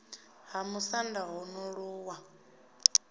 ha musanda ho no ṱuwa